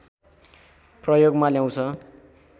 प्रयोगमा ल्याउँछ